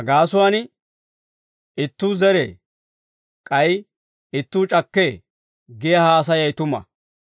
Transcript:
Ha gaasuwaan, ‹Ittuu zeree; k'ay ittuu c'akkee› giyaa haasayay tuma.